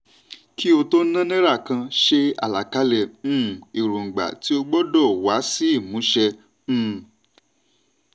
kí o tó ná náírà kan ṣe àlàkalẹ̀ um èròǹgbà tí ó gbọ́dọ̀ wá sí ìmúṣẹ um.